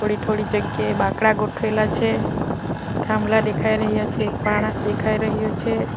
થોડી થોડી જગ્યાએ બાંકડા ગોઠવેલા છે થાંભલા દેખાય રહ્યા છે માણસ દેખાઈ રહ્યું છે.